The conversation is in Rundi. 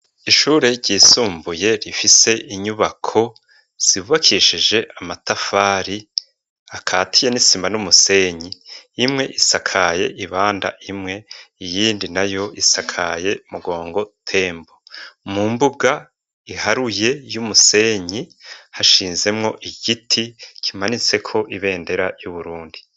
Ishure ryisumbuye rifise inyubako zubakishije amatafari akatiye n'isima n'umusenyi imwe isakaye ibanda imwe iyindi na yo isakaye mugongo tembo mu mbuga iharuye y'umusenyi hashinzemo igiti kimanitse ko ibendera y'uburundi.